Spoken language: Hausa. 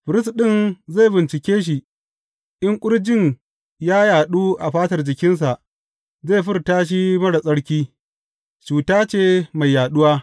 Firist ɗin zai bincike shi, in ƙurjin ya yaɗu a fatar jikinsa, zai furta shi marar tsarki; cuta ce mai yaɗuwa.